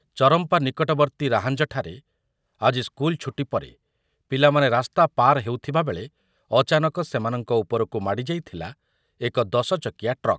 ଚରମ୍ପା ନିକଟବର୍ତ୍ତୀ ରାହାଞ୍ଜଠାରେ ଆଜି ସ୍କୁଲ୍‌ ଛୁଟି ପରେ ପିଲାମାନେ ରାସ୍ତା ପାର ହେଉଥିବାବେଳେ ଅଚାନକ ସେମାନଙ୍କ ଉପରକୁ ମାଡ଼ିଯାଇଥିଲା ଏକ ଦଶଚକିଆ ଟ୍ରକ୍ ।